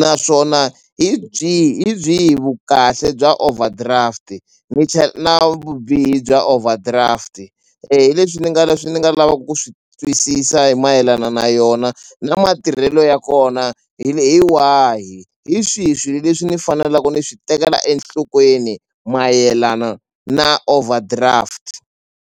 naswona hi byihi hi byihi vukahle bya overdraft-i ni na vubihi bya overdraft-i hi leswi ni nga leswi ni nga lavaku ku swi twisisa hi mayelana na yona na matirhelo ya kona hi wahi hi swihi swilo leswi ni fanelaku ni swi tekela enhlokweni mayelana na overdraft.